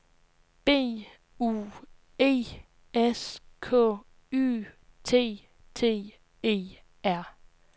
B U E S K Y T T E R